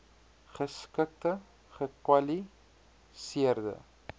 geskikte gekwali seerde